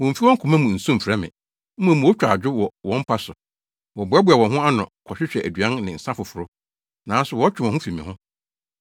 Wommfi wɔn koma mu nsu mfrɛ me, mmom wotwa adwo wɔ wɔn mpa so. Wɔboaboa wɔn ho ano kɔhwehwɛ aduan ne nsa foforo, nanso wɔtwe wɔn ho fi me ho.